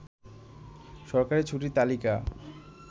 সরকারি ছুটির তালিকা